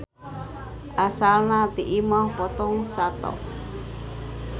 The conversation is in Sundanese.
Asalna ti imah potong sato.